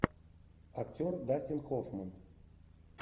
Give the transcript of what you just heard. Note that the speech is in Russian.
актер дастин хоффман